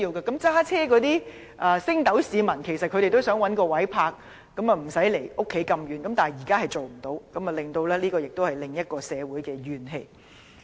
駕車的升斗市民想找到一個無須離家太遠的泊車位，但現時做不到，導致社會產生另一種怨氣。